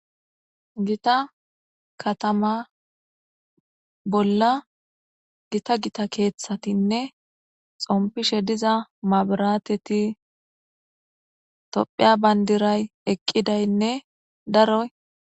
gita katama bolla gita gita keeththatinne xompishe diza mabarateti topheya bayndiray eqqidaynne daroy